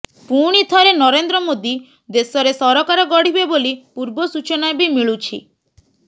ପୁଣିଥରେ ନରେନ୍ଦ୍ରମୋଦି ଦେଶରେ ସରକାର ଗଢ଼ିବେ ବୋଲି ପୂର୍ବ ସୂଚନା ବି ମିଳୁଛି